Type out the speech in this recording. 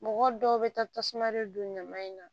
Mɔgɔ dɔw bɛ taa tasuma de don ɲaman in na